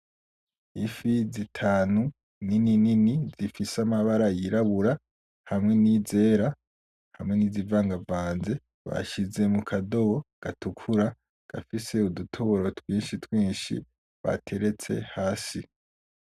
Ifi zitanu nini nini zifise amabara yirabura, hamwe n’izera hamwe n’izivangavanze, bashize mu kadobo gatukura gafise udutoboro twinshi twinshi bateretse hasi.